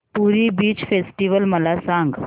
पुरी beach festival मला सांग